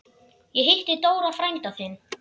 Ég hitti Dóra frænda þinn.